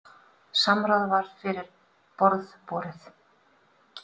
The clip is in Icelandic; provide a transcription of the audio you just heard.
Samráð var fyrir borð borið.